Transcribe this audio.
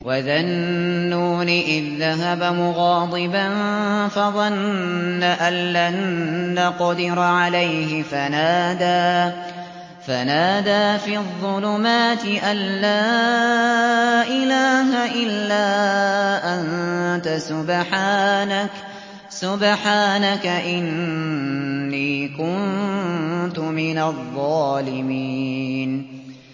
وَذَا النُّونِ إِذ ذَّهَبَ مُغَاضِبًا فَظَنَّ أَن لَّن نَّقْدِرَ عَلَيْهِ فَنَادَىٰ فِي الظُّلُمَاتِ أَن لَّا إِلَٰهَ إِلَّا أَنتَ سُبْحَانَكَ إِنِّي كُنتُ مِنَ الظَّالِمِينَ